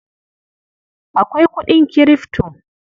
Akwai kuɗin Kirifto.